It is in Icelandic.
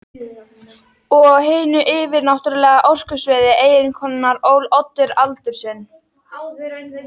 Og á hinu yfirnáttúrlega orkusviði eiginkonunnar ól Oddur aldur sinn.